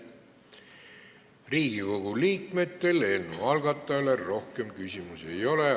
Riigikogu liikmetel eelnõu algatajale rohkem küsimusi ei ole.